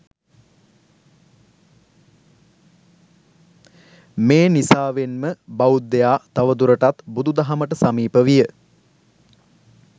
මේ නිසාවෙන්ම බෞද්ධයා තවදුරටත් බුදු දහමට සමීප විය.